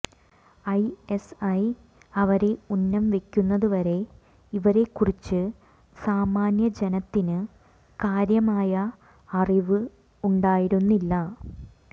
I S I അവരെ ഉന്നം വെക്കുന്നതുവരെ ഇവരെക്കുറിച്ച് സാമാന്യ ജനത്തിന് കാര്യമായ അറിവ് ഉണ്ടായിരുന്നില്ല